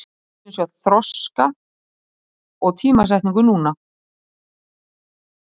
Við viljum sjá þroska og tímasetningu núna.